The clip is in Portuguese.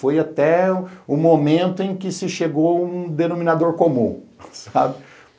Foi até o momento em que se chegou a um denominador comum, sabe?